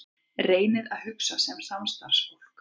Reynið að hugsa sem samstarfsfólk.